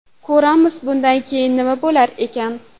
Ko‘ramiz, bundan keyin nima bo‘lar ekan.